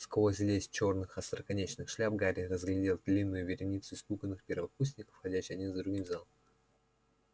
сквозь лес черных остроконечных шляп гарри разглядел длинную вереницу испуганных первокурсников входящих один за другим в зал